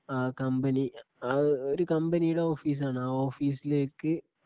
ആ കമ്പനി ആ ഹു ഒരു കമ്പനിയുടെ ഓഫീസാണ് ആ ഓഫീസിലേക്ക്